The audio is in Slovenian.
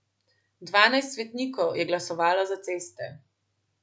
Dvanajst svetnikov je glasovalo za ceste.